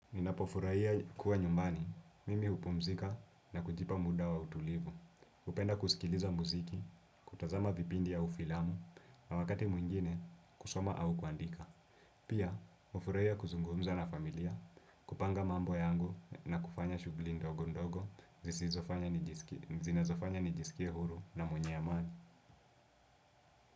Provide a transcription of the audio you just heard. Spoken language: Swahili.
Ninapofurahia kuwa nyumbani, mimi hupumzika na kujipa muda wa utulivu. Hupenda kusikiliza muziki, kutazama vipindi au filamu. Na wakati mwingine, kusoma au kuandika. Pia, hufurahia kuzungumza na familia, kupanga mambo yangu na kufanya shugli ndogo ndogo zinazofanya nijisikie huru na mwenye amani.